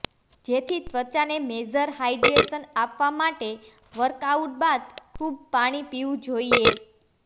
જેથી ત્વચાને major hydration આપવા માટે વર્કઆઉટ બાદ ખૂબ પાણીપીવું જોઇએ